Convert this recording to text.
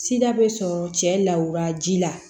Sida bɛ sɔrɔ cɛ lawura ji la